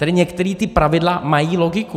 Tady některá ta pravidla mají logiku.